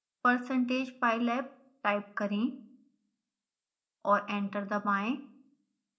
percentage pylab type करें और enter दबाएं